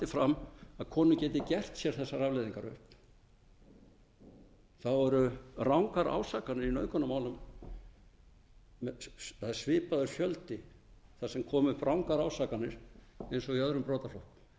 fram að konur geti gert sér þessar afleiðingar upp þá eru rangar ásakanir í nauðgunarmálum það er svipaður fjöldi þar sem koma upp rangar ásakanir og í öðrum brotaflokkum